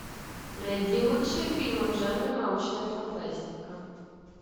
найди лучшие фильмы в жанре научная фантастика